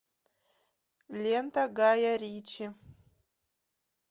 лента гая ричи